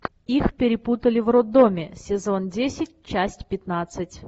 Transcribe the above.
их перепутали в роддоме сезон десять часть пятнадцать